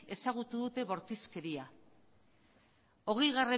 ezagutu dute bortizkeria hogei